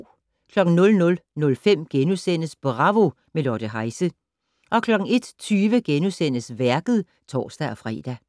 00:05: Bravo - med Lotte Heise * 01:20: Værket *(tor-fre)